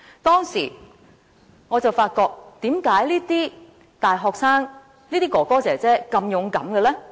當時，我在想：為何這些大學生、哥哥姐姐們會如此勇敢呢？